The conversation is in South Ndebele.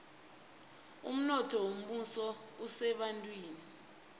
umnotho wombuso usebantwini